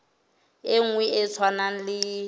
e nngwe e tshwanang le